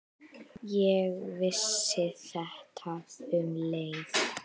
Ég vissi þetta um leið.